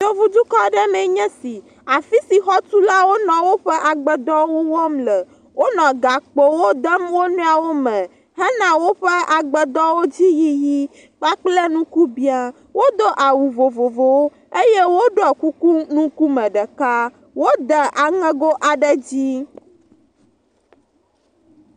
Yevudukɔ aɖe mee nye esi, xɔtulawo wonɔ woƒe agbedɔwo wɔm le, wonɔ gakpowo dem wonɔewo me hena woƒe agbedɔwo ƒe dzi yiyi kpakple nuke bɛ̃a, wodo awu vovovowo, eye woɖɔe kuku ŋkume ɖeka, wode aŋɛgo aɖe dzi.